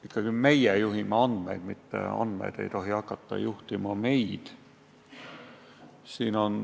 Ikkagi meie juhime andmeid, mitte andmed ei tohi hakata juhtima meid.